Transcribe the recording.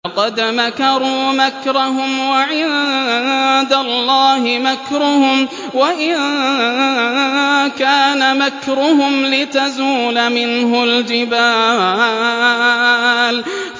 وَقَدْ مَكَرُوا مَكْرَهُمْ وَعِندَ اللَّهِ مَكْرُهُمْ وَإِن كَانَ مَكْرُهُمْ لِتَزُولَ مِنْهُ الْجِبَالُ